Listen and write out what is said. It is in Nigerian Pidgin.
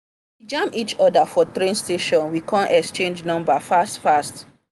we jam each other for train station we come exchange number fast fast.